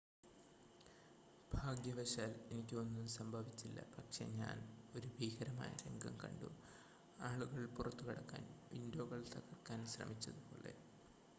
"""ഭാഗ്യവശാൽ എനിക്ക് ഒന്നും സംഭവിച്ചില്ല പക്ഷേ ഞാൻ ഒരു ഭീകരമായ രംഗം കണ്ടു ആളുകൾ പുറത്തുകടക്കാൻ വിൻഡോകൾ തകർക്കാൻ ശ്രമിച്ചതുപോലെ.